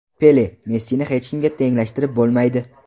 Pele: Messini hech kimga tenglashtirib bo‘lmaydi.